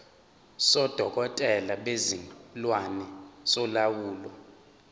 sodokotela bezilwane solawulo